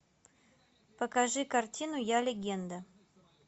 покажи картину я легенда